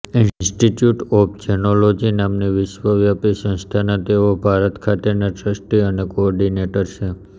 institute of jainology નામની વિશ્વવ્યાપી સંસ્થાના તેઓ ભારત ખાતેના ટ્રસ્ટી અને કોઑર્ડિનેટર છે